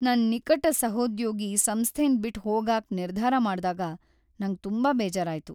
ನನ್ ನಿಕಟ ಸಹೋದ್ಯೋಗಿ ಸಂಸ್ಥೆನ್ ಬಿಟ್ ಹೋಗಾಕ್ ನಿರ್ಧಾರ ಮಾಡ್ದಾಗ ನಂಗ್ ತುಂಬಾ ಬೇಜಾರಾಯ್ತು.